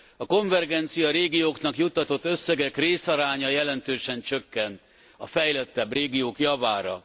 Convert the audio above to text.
A konvergenciarégióknak juttatott összegek részaránya jelentősen csökken a fejlettebb régiók javára.